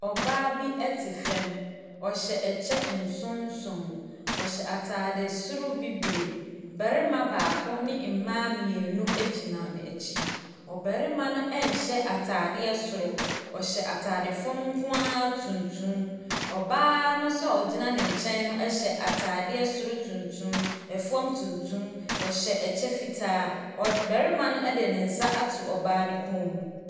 Ɔbaa bi te fam. Ɔhyɛ ɛkyɛ nson nson. Ɔhyɛ atade soro bibire. Barima baako ne mmaa mmienu gyina n'akyi. Ɔbarima no nhyɛ atadeɛ soro. Ɔhyɛ atade fam nko ara tuntum. Ɔbaa no nso a ɔgyina ne nkyɛn no hyɛ atadeɛ soro tunrum, fam tuntum. Ɔhyɛ ɛkyɛ fitaa. Ɔd . Barima no de ne nsa ato ɔbaa no kɔn mu.